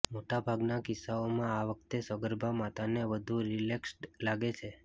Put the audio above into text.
મોટા ભાગના કિસ્સાઓમાં આ વખતે સગર્ભા માતાને વધુ રિલેક્સ્ડ લાગે છે